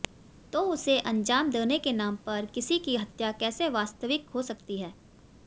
तो उसे अंजाम देने के नाम पर किसी की हत्या कैसे वास्तविक हो सकती है